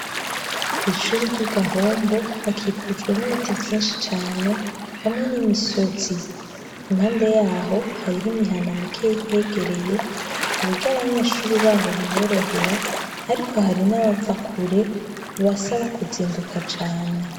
Kwishure ryi gahombo hakikujwe nibiti vyinshi cane hamwe nimisozi impande yaho hariho imihana mikeyi ihegereye kuburyo abanyeshure baho biborohera ariko hari nabava kure bibasaba kuzinduka cane